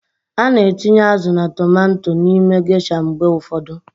A na-etinye azụ na tomanto n'ime gesha mgbe ụfọdụ.